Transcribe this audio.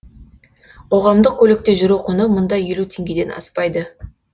қоғамдық көлікте жүру құны мұнда елу теңгеден аспайды